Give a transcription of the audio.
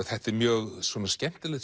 þetta er mjög svona skemmtilegt